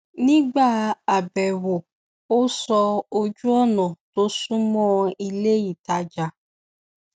nígbà àbẹ̀wò ó sọ ojúònà tó sunmọ iléìtajà